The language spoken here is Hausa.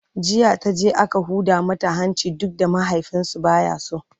jiya taje aka Huda mata hanci duk da mahaifinsu baya so